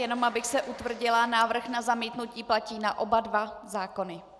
Jen abych se utvrdila, návrh na zamítnutí platí na oba dva zákony?